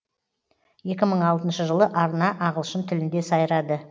екі мың алтыншы жылы арна ағылшын тілінде сайрады